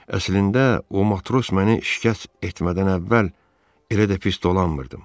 Əslində o matros məni şikəst etmədən əvvəl elə də pis dolanmırdım.